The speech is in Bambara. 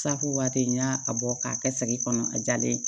Safu waati n y'a bɔ k'a kɛ sagi kɔnɔ a jalen